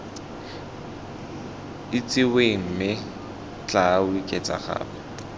itsiweng mme tla oketsa gape